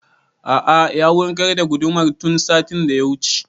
A'a ya wurgar da gudumar tun satin da ya wuce